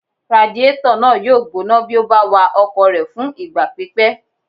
Radiétọ̀ náà yóò gbóná bí o bá wa ọkọ̀ rẹ fún ìgbà pípẹ́